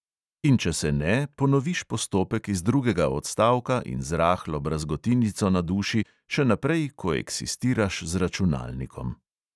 In če se ne, ponoviš postopek iz drugega odstavka in z rahlo brazgotinico na duši še naprej koeksistiraš z računalnikom.